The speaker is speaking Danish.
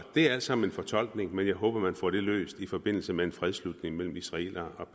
det er alt sammen fortolkning men jeg håber at man får det løst i forbindelse med en fredsslutning mellem israelere